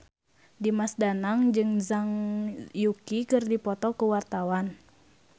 Dimas Danang jeung Zhang Yuqi keur dipoto ku wartawan